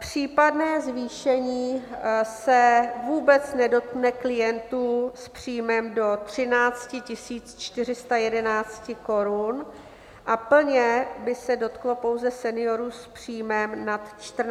Případné zvýšení se vůbec nedotkne klientů s příjmem do 13 411 korun a plně by se dotklo pouze seniorů s příjmem nad 14 823 korun.